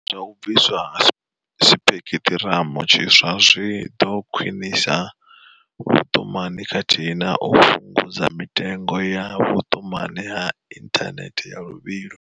Zwa u bviswa ha sipekiṱhiramu tshiswa zwi ḓo khwinisa vhuṱumani khathihi na u fhungudza mitengo ya vhuṱumani ha inthanethe ya luvhilo.